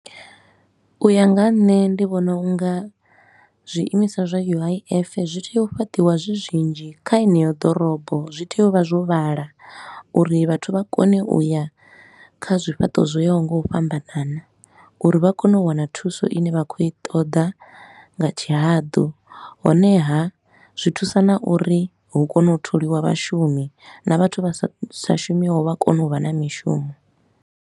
U ya nga ha nṋe ndi vhona u nga zwiimiswa zwa U_I_F zwi tea u fhaṱiwa zwi zwinzhi kha heneyo ḓorobo. Zwi tea u vha zwo vhala uri vhathu vha kone u ya kha zwifhaṱo zwo yaho nga u fhambanana, uri vha kone u wana thuso i ne vha khou i ṱoḓa nga tshihaḓu. Honeha zwi thusa na uri hu kone u tholiwa vhashumi na vhathu vha sa sa shumiho vha kone u vha na mishumo.